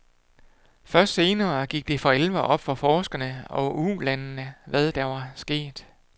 Først senere gik det for alvor op for forskerne og ulandene, hvad der var sket.